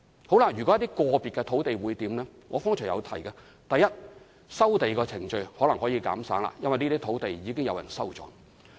至於一些個別的土地，正如我剛才提到，第一，收地程序或許可以減省，因為土地已被收購。